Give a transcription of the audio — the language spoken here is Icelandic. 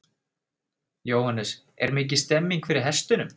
Jóhannes: Er mikil stemmning fyrir hestunum?